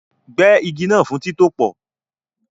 Gbẹ́ igi náà fún títòpò